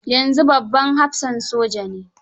Yanzu babban hafsan soja ne.